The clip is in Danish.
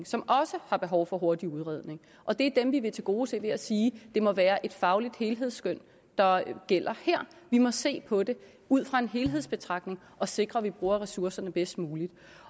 som også har behov for hurtig udredning og det er dem vi vil tilgodese ved at sige det må være et fagligt helhedsskøn der gælder her vi må se på det ud fra en helhedsbetragtning og sikre at vi bruger ressourcerne bedst muligt